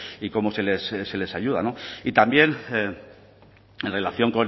y cómo se les ayuda y también en relación